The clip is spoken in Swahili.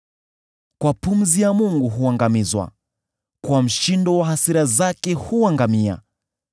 Kwa pumzi ya Mungu huangamizwa; kwa mshindo wa hasira zake huangamia.